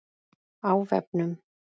Á vefnum